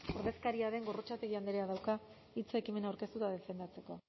ordezkaria den gorrotxategi andreak dauka hitza ekimena aurkeztu eta defendatzeko